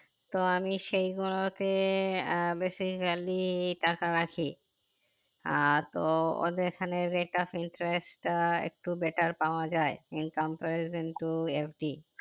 তো আমি সেই গুলোতে আহ basically টাকা রাখি আহ তো ওদের খানে rate of interest টা একটু better পাওয়া যাই in comparison to every